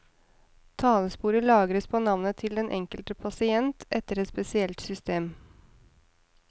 Talesporet lagres på navnet til den enkelte pasient og etter et spesielt system.